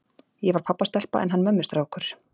Ég var pabbastelpa en hann mömmustrákur.